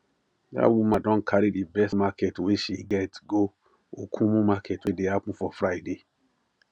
that woman don carry the best market wey she get go okumu market wey dey happen for friday